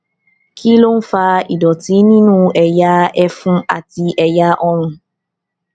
kí ló ń fa ìdòtí nínú ẹyà ẹfun àti ẹyà ọrùn